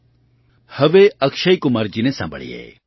આવો હવે અક્ષયકુમારજીને સાંભળીએ